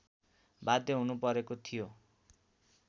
बाध्य हुनुपरेको थियो